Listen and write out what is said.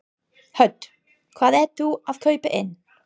Hödd: Hvað ert þú að kaupa inn?